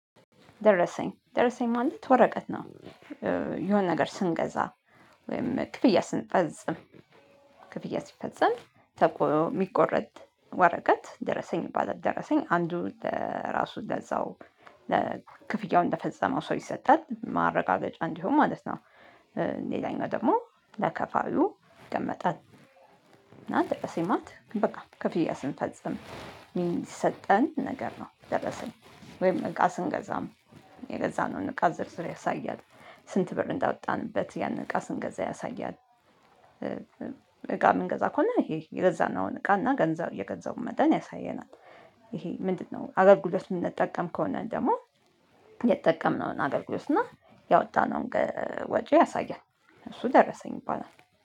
ደረሰኝ ደረሰኝ ማለት ወረቀት ነው። የሆነ ነገር ስንገዛ ወይም ክፍያ ስንፈዝም ክፍያ ስፈጽም ተቆ የሚቆረጥ ወረቀት ደረሰኝ ይባላል። ደረሰኝ አንዱ ለራሱ ለዛው ለክፍያው እንደፈጸመው ሰው ይሰጣል ማረጋገጫ እንዲሆን ማለት ነው። ሌላኛው ደግሞ ለከፋይው ይቀመጣል። እና ደግሞ ሲማት በቃ ክፍያ ስንፈጽም የሚሰጠን ነገር ነው ደረሰኝ ወይም እቃ ስንገዛም የገዛነውን እቃ ዘርዝር ያሳያል። ስንት ብር እንዳወጣንበት ያንን እቃ ስንገዛ ያሳያል ምንገዛ ከሆነ ይሄ የገዛነውን እቃና ገንዘብ የገዛውን መጠን ያሳየናል። ይሄ ምንድነው ሀገር ጉድለት የምንጠቀም ከሆነ ደግሞ የተጠቀምነውን አገልግሎት እና ያወጣነውን ወጪ ያሳያል። እሱ ደረሰኝ በኋላ